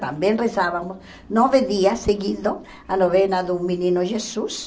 Também rezávamos nove dias seguindo a novena do Menino Jesus.